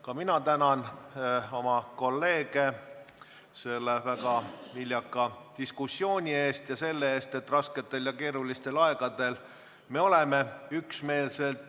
Ka mina tänan oma kolleege väga viljaka diskussiooni eest ja selle eest, et oleme rasketel ja keerulistel aegadel üksmeelsed.